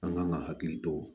An kan ka hakili to